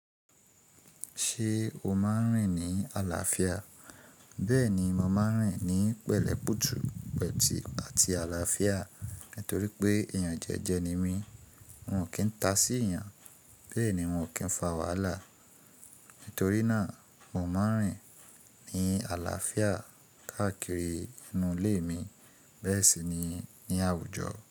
Ṣé o máa ń rìn ní àlàáfíà? Bẹ́ẹ̀ni, mo máa ń rìn ní pẹ̀lẹ́pùtù, pẹ̀tì àti àlàáfíà nítorí pé èèyàn jẹ́jẹ ni mí. Mi ò kí ń ta sí èèyàn, bẹ́ẹ̀ ni n ò kí ń fa wàhálà. Nítorí náà, mò maa ń rìn ní àlàáfíà káàkiri inú ilé mi bẹ́ẹ̀ sì ni ní àwùjọ.